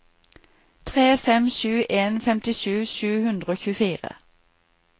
tre fem sju en femtisju sju hundre og tjuefire